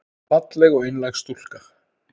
Falleg og einlæg stúlka.